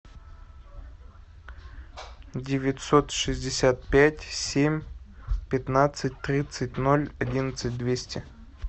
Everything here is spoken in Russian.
девятьсот шестьдесят пять семь пятнадцать тридцать ноль одиннадцать двести